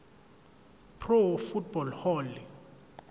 pro football hall